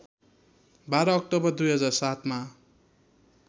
१२ October २००७ मा